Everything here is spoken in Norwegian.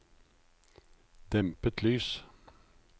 dempet lys